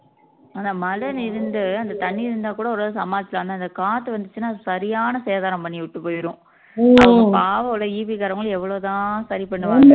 ஆனா மழன்னு இருந்து அந்த தண்ணி இருந்தா கூட ஒரு அளவுக்கு சமாளிக்கலாம் ஆனா இந்த காத்து வந்துச்சுன்னா அது சரியான சேதாரம் பண்ணி விட்டுப் போயிரும் பாவம் அவுங்க EB காரங்களும் எவ்வளவுதான் சரி பண்ணுவாங்கன்னு